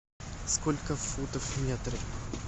сколько футов в метре